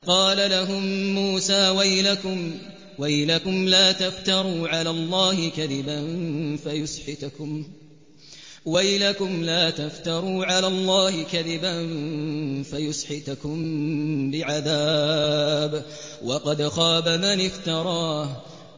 قَالَ لَهُم مُّوسَىٰ وَيْلَكُمْ لَا تَفْتَرُوا عَلَى اللَّهِ كَذِبًا فَيُسْحِتَكُم بِعَذَابٍ ۖ وَقَدْ خَابَ مَنِ افْتَرَىٰ